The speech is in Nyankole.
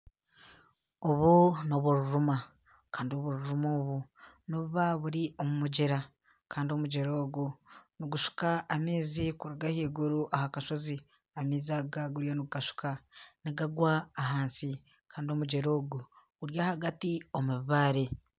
Obu n'obururuma kandi obururuma obu nibuba buri omu mugyera kandi omugyera ogu nigushuka amaizi kuruga ahaiguru aha kasozi, nigagwa ahansi kandi omugyera ogu guri ahagati omu bibaare.